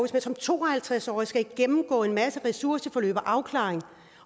skal som to og halvtreds årig gennemgå en masse ressourceforløb og afklaring